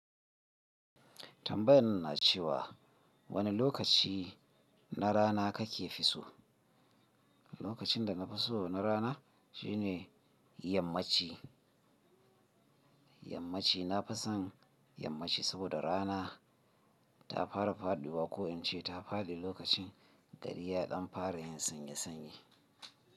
Tambayan na ce wa wani lokaci na rana kake fi so? Lokacin da na fi so na rana shine yammaci. Yammaci na fi son yammaci saboda rana ta fara faɗuwa ko in ce ta faɗi lokacin gariya ɗan fara yin sanye sanye.